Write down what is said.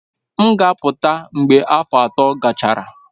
M ga-apụta mgbe afọ atọ gachara.